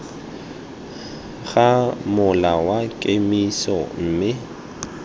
ga mola wa kemiso mme